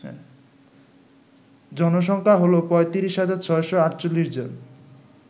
জনসংখ্যা হল ৩৫৬৪৮ জন